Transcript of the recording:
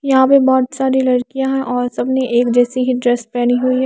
यहाँ पे बहुत सारी लड़कियाँ हैं और सबने एक जैसी ही ड्रेस पहनी हुई है।